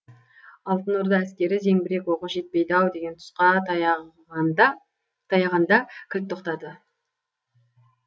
алтын орда әскері зеңбірек оғы жетпейді ау деген тұсқа таяғанда таяғанда кілт тоқтады